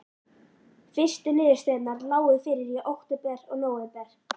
Fyrstu niðurstöðurnar lágu fyrir í október og nóvember.